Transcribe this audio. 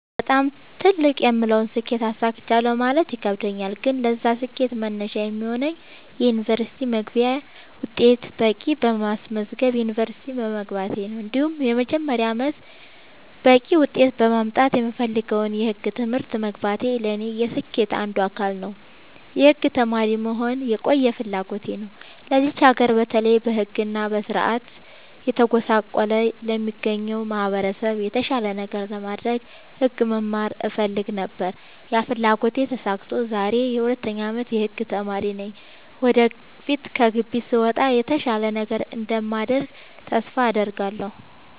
በጣም ትልቅ የምለውን ስኬት አሳክቻለሁ ማለት ይከብደኛል። ግን ለዛ ስኬት መነሻ የሚሆነኝን የ ዩኒቨርስቲ መግቢያ ውጤት በቂ በማስመዝገብ ዩንቨርስቲ መግባቴ እንዲሁም የመጀመሪያ አመቴን በቂ ውጤት በማምጣት የምፈልገውን የህግ ትምህርት መግባቴ ለኔ የስኬቴ አንዱ አካል ነው። የህግ ተማሪ መሆን የቆየ ፍላጎቴ ነው ለዚች ሀገር በተለይ በህግ እና በስርዓቱ እየተጎሳቆለ ለሚገኘው ማህበረሰብ የተሻለ ነገር ለማድረግ ህግ መማር እፈልግ ነበር ያ ፍላጎቴ ተሳክቶ ዛሬ የ 2ኛ አመት የህግ ተማሪ ነኝ ወደፊት ከግቢ ስወጣ የተሻለ ነገር እንደማደርግ ተስፋ አድርጋለሁ።